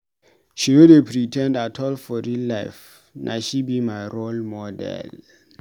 She no dey pre ten d at all for real life, na she be my role model.